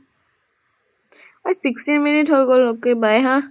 অ sixteen minutes হৈ গল okay bye হা।